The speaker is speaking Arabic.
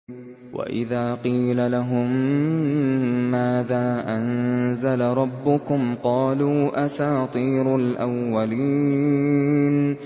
وَإِذَا قِيلَ لَهُم مَّاذَا أَنزَلَ رَبُّكُمْ ۙ قَالُوا أَسَاطِيرُ الْأَوَّلِينَ